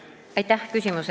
Aitäh!